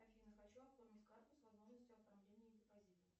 афина хочу оформить карту с возможностью оформления депозита